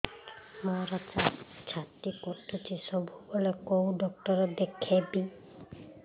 ମୋର ଛାତି କଟୁଛି ସବୁବେଳେ କୋଉ ଡକ୍ଟର ଦେଖେବି